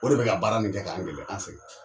O de be ka baara in kɛ k'an gɛlɛya an sɛgɛ